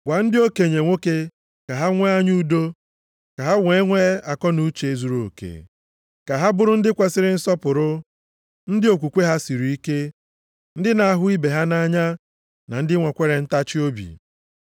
Gwa ndị okenye nwoke ka ha nwee anya udo, ka ha nwee akọnuche zuruoke, ka ha bụrụ ndị kwesiri nsọpụrụ, ndị okwukwe ha siri ike, ndị na-ahụ ibe ha nʼanya, na ndị nwekwara ntachiobi.